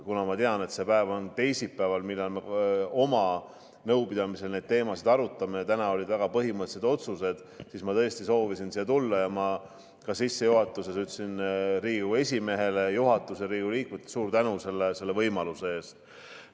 Kuna ma tean, et see päev on teisipäev, millal me oma nõupidamisel neid teemasid arutame – täna olid väga põhimõttelised otsused –, siis ma tõesti soovisin siia tulla, ja ma ka sissejuhatuses tänasin väga Riigikogu esimeest, juhatust ja Riigikogu liikmeid selle võimaluse eest.